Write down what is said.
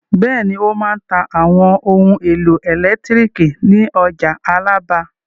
Bẹ́ẹ̀ni, ó máa ta àwọn ohun-èlò ẹ̀lẹ́tíríkì ní ọjà Alábà.